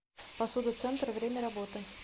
посуда центр время работы